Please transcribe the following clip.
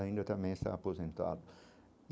Ainda também está aposentado.